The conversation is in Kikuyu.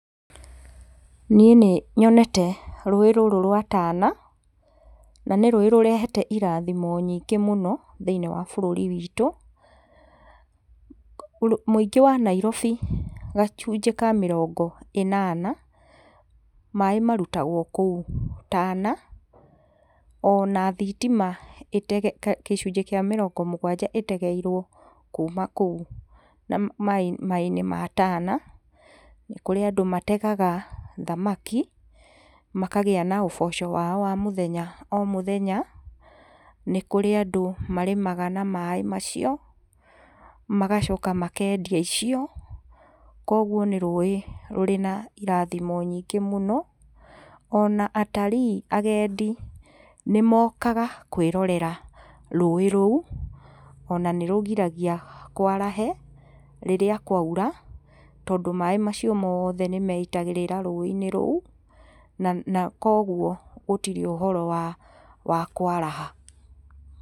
Niĩ nĩ nyonete ruĩ rũrũ rwa tana na nĩ rũĩ rũrehete irathimo nyingĩ mũno thĩ-inĩ wa bũrũri witu. Mũingĩ wa Nairobi gacunjĩ ka mĩrongo ĩnana maaĩ marutagwo kũu tana ona thitima gĩcunjĩ kĩa mĩrongo mũgwanja ĩtegeirwo kuma kũu maaĩ-inĩ ma tana ,nĩ kũrĩ andũ mategaga thamaki makagia na ũboco wao wa mũthenya o mũthenya nĩ kũrĩ andũ marĩmaga na maaĩ macio magacoka makendia indo icio koguo nĩ rũĩ rũrĩ na irathimo nyingĩ mũno, ona atarii agendi nĩ mokaga kwĩrorera rũĩ rũu ona nĩ rũgiragia kwarahe rĩrĩa kwaura tondũ maaĩ macio mothe nĩ meitagĩrĩra rũĩ-inĩ rũu na koguo gũtirĩ ũhoro wa, wa kwaraha.